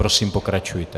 Prosím, pokračujte.